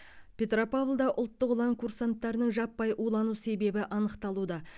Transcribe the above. петропавлда ұлттық ұлан курсанттарының жаппай улану себебі анықталуда